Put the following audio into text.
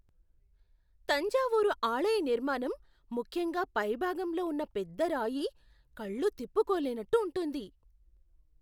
తంజావూరు ఆలయ నిర్మాణం, ముఖ్యంగా పై భాగంలో ఉన్న పెద్ద రాయి, కళ్ళు తిప్పుకోలేనట్టు ఉంటుంది.